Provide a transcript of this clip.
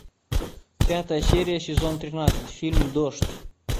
пятая серия сезон тринадцать фильм дождь